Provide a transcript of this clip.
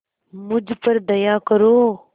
मुझ पर दया करो